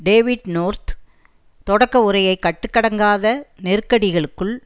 David North தொடக்க உரையை கட்டுக்கடங்காத நெருக்கடிக்குள்